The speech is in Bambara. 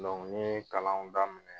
Dɔnku ye kalanw daminɛ.